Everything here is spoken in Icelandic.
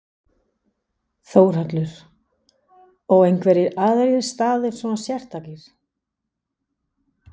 Þórhallur: Og einhverjir aðrir staðir svona sérstakir?